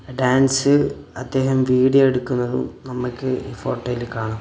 Dance അത്യാവശ്യം video എടുക്കുന്നതും നമുക്ക് ഈ ഫോട്ടോയിൽ കാണാം.